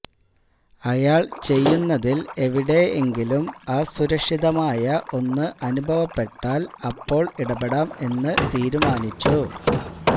അയാള് ചെയ്യുന്നതില് എവിടെ എങ്കിലും അസുരക്ഷിതമായ ഒന്ന് അനുഭവപ്പെട്ടാല് അപ്പോള് ഇടപെടാം എന്ന് തീരുമാനിച്ചു